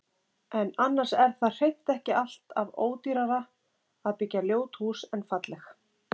En annars er það hreint ekki allt af ódýrara að byggja ljót hús en falleg.